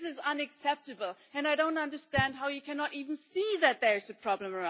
This is unacceptable, and I don't understand how you cannot even see that there is a problem.